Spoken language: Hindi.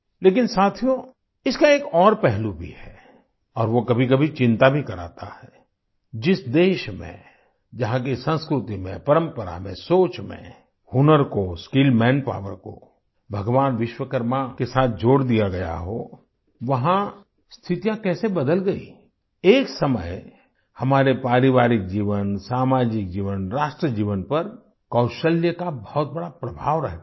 लेकिन साथियों इसका एक और पहलू भी है और वो कभीकभी चिंता भी कराता है जिस देश में जहाँ की संस्कृति में परंपरा में सोच में हुनर को स्किल मैनपावर को भगवान विश्वकर्मा के साथ जोड़ दिया गया हो वहाँ स्थितियाँ कैसे बदल गई एक समय हमारे पारिवारिक जीवन सामाजिक जीवन राष्ट्र जीवन पर कौशल्य का बहुत बड़ा प्रभाव रहता था